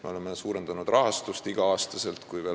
Me oleme igal aastal suurendanud ka rahastust.